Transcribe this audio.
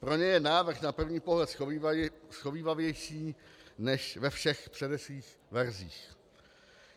Pro ně je návrh na první pohled shovívavější než ve všech předešlých verzích.